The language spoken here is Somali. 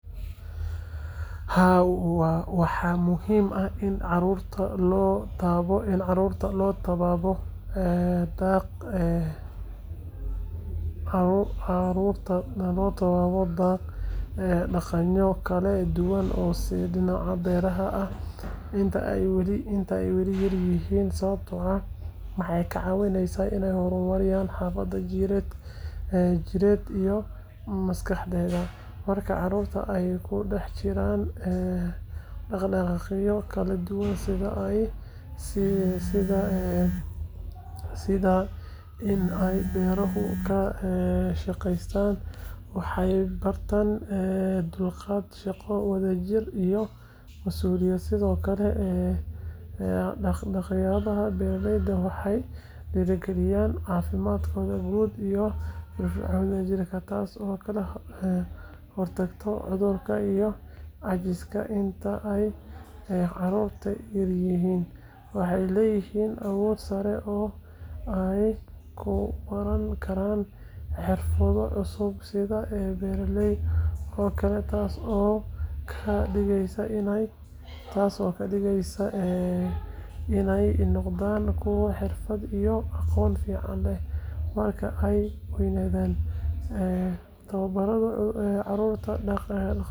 Haa waxaa muhiim ah in carurta lo tawabo ee daq ee daqanyo kala duwan oo beeraha ah inta ee wali yar yihin sawabto ah waxee ka cawineysa in nawada jireed iyo maskaxdeda marka carurta ee kadaqiyo laduwan sitha in ee beerahu ee ahaqeystan waxee hortan dulqaad shaqo wadha jir mas uliyeed ee wax yabaha beered waxee dira galiyan cafimaad ku guud iyo fir firconi tas oo kala hortagto cudhurka iyo cemista inta ee helin waxee leyihin awod sare ee ku baran karan xirfado cusub sitha tas oo ka digeysa in ee noqdan kuwa xirfaad iyo aqon fican leh marka ee qeynadhan ee tawabaradha carurta daqale.